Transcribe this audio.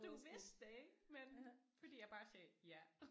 Du vidste det ikke men fordi jeg bare sagde ja